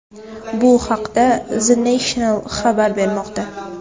Bu haqda The National xabar bermoqda .